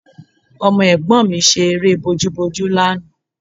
Ọmọ ẹ̀gbọ́n mi ṣe eré bojúbojú lánàá